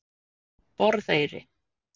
Borðeyri